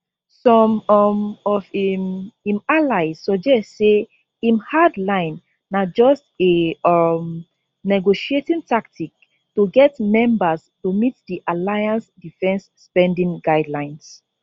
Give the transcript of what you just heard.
some um of im im allies suggest say im hard line na just a um negotiating tactic to get members to meet di alliance defence spending guidelines